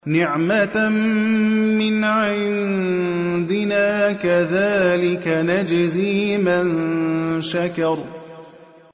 نِّعْمَةً مِّنْ عِندِنَا ۚ كَذَٰلِكَ نَجْزِي مَن شَكَرَ